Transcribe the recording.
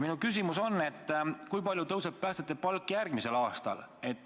Minu küsimus on, kui palju tõuseb päästjate palk järgmisel aastal.